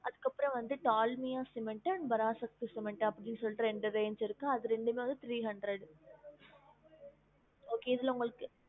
அதுக்கு அப்பறம் வந்துட்டு Dalmia cement and Parasakti cement அப்டின்னு சொல்லிட்டு ரெண்டு range இருக்கு அது ரெண்டுமே three hundred okay இதுல உங்களுக்கு